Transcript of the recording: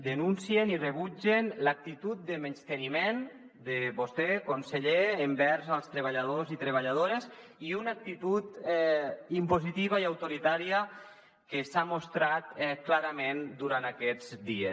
denuncien i rebutgen l’actitud de menysteniment de vostè conseller envers els tre·balladors i treballadores i una actitud impositiva i autoritària que s’ha mostrat clara·ment durant aquests dies